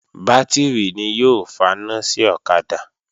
Bátìrì ni yóò faná sí ọ̀kadà